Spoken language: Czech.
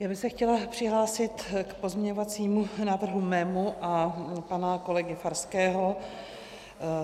Já bych se chtěla přihlásil k pozměňovacímu návrhu svému a pana kolegy Farského.